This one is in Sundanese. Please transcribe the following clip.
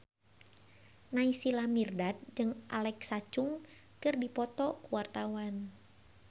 Naysila Mirdad jeung Alexa Chung keur dipoto ku wartawan